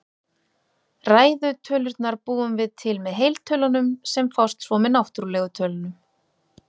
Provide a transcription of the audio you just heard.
Ræðu tölurnar búum við til með heiltölunum, sem fást svo með náttúrlegu tölunum.